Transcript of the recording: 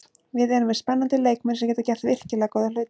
Við erum með spennandi leikmenn sem geta gert virkilega góða hluti.